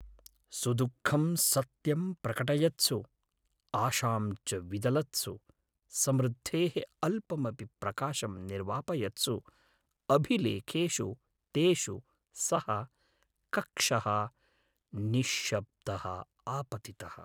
सुदुःखं सत्यं प्रकटयत्सु, आशां च विदलत्सु, समृद्धेः अल्पमपि प्रकाशम् निर्वापयत्सु अभिलेखेषु तेषु सः कक्षः निश्शब्दः आपतितः।